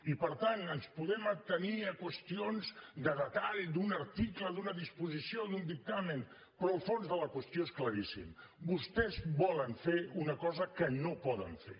i per tant ens podem atenir a qüestions de detall d’un article d’una disposició d’un dictamen però el fons de la qüestió és claríssim vostès volen fer una cosa que no poden fer